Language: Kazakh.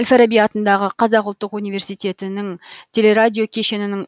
әл фараби атындағы қазақ ұлттық университетінің телерадиокешенінің